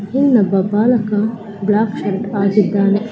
ನನ್ನ ಬಾಲಕ ಆಗಿದ್ದಾನೆ .